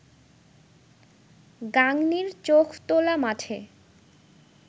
গাংনীর চোখতোলা মাঠে